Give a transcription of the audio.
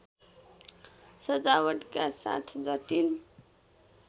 सजावटका साथ जटिल